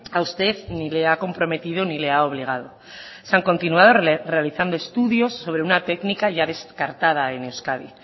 a usted ni le ha comprometido ni le ha obligado se han continuado realizando estudios sobre una técnica ya descartada en euskadi